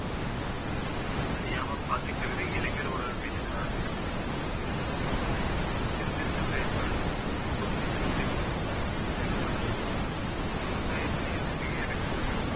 அழியாம பாத்துக்குறது இளைஞரோட கையில தான் இருக்கு சிந்தித்து செயல்படணும் எப்பவுமே சிந்தித்து செயல்படணும் விவசாயத்திலேயே நிறைய இருக்குங்க